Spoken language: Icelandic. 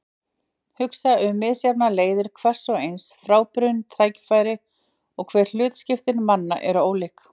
Hugsa um misjafnar leiðir hvers og eins, frábrugðin tækifæri- og hve hlutskipti manna er ólíkt.